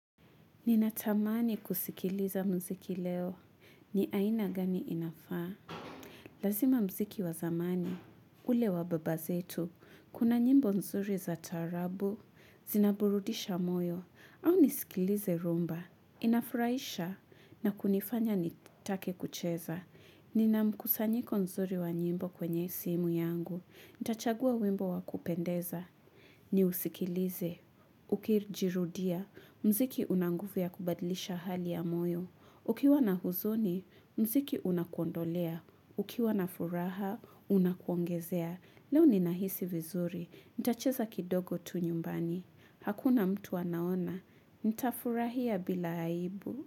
Ninatamani kusikiliza mziki leo. Ni aina gani inafaa? Lazima mziki wazamani. Ule wavbabavzetu. Kuna nyimbo nzuri za taarabu. Zinaburudisha moyo. Au nisikilize rhumba. Inafuraisha na kunifanya nitake kucheza. Ninamkusanyiko nzuri wa nyimbo kwenye simu yangu. Nitachagua wimbo wakupendeza. Ni usikilize. Ukijirudia. Mziki unanguvu ya kubadlisha hali ya moyo. Ukiwa na huzuni, mziki unakuondolea. Ukiwa na furaha, unakuongezea. Leo ni nahisi vizuri. Nitacheza kidogo tu nyumbani. Hakuna mtu anaona. Nitafurahia bila aibu.